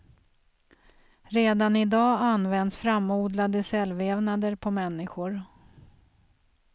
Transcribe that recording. Redan i dag används framodlade cellvävnader på människor.